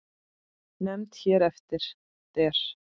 Nefnd hér eftir: Der